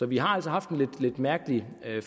vi har altså haft en lidt mærkelig